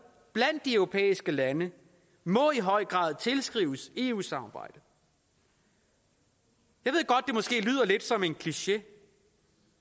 blandt de europæiske lande må i høj grad tilskrives eu samarbejdet jeg ved godt det måske lyder lidt som en kliché